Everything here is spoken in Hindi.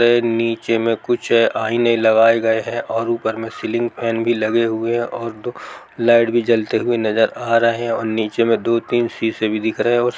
यह नीचे में कुछ आईने लगाए गए हैं और ऊपर मे सीलिंग फैन भी लगे हुए हैं और दुगो लाइट भी जलते हुए नजर आ रहे हैं और नीचे मे दो-तीन शीशे भी दिख रहे हैं और--